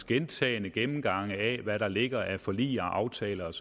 gentagne gennemgange af hvad der ligger af forlig og aftaler og